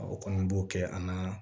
O kɔni b'o kɛ an na